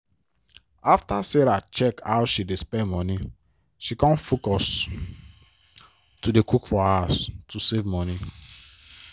after sarah check how she dey spend money she con focus to dey cook for house to save money.